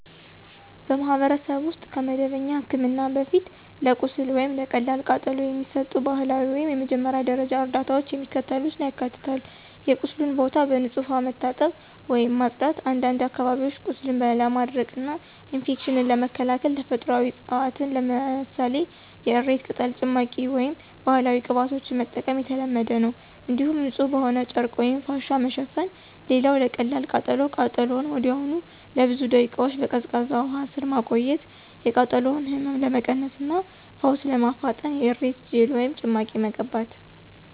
በማኅበረሰብ ውስጥ ከመደበኛ ሕክምና በፊት ለቁስል ወይም ለቀላል ቃጠሎ የሚሰጡ ባህላዊ ወይም የመጀመሪያ ደረጃ እርዳታዎች የሚከተሉትን ያካትታሉ የቁስሉን ቦታ በንጹሕ ውሃ መታጠብ ወይም ማጽዳት፣ አንዳንድ አካባቢዎች ቁስልን ለማድረቅና ኢንፌክሽንን ለመከላከል ተፈጥሯዊ ዕፅዋትን ለምሳሌ የእሬት ቅጠል ጭማቂ ወይም ባህላዊ ቅባቶችን መጠቀም የተለመደ ነው። እንዲሁም ንጹሕ በሆነ ጨርቅ ወይም ፋሻ መሸፈን። ሌላው ለቀላል ቃጠሎ ቃጠሎውን ወዲያውኑ ለብዙ ደቂቃዎች በቀዝቃዛ ውሃ ስር ማቆየት፣ የቃጠሎውን ህመም ለመቀነስ እና ፈውስ ለማፋጠን የእሬት ጄል ወይም ጭማቂ መቀባት።